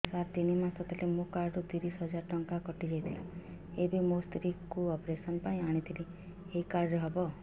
ସାର ତିନି ମାସ ତଳେ ମୋ କାର୍ଡ ରୁ ତିରିଶ ହଜାର ଟଙ୍କା କଟିଯାଇଥିଲା ଏବେ ମୋ ସ୍ତ୍ରୀ କୁ ଅପେରସନ ପାଇଁ ଆଣିଥିଲି ଏଇ କାର୍ଡ ରେ ହବ